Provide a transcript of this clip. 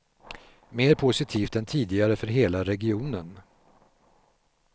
Mer positivt än tidigare för hela regionen.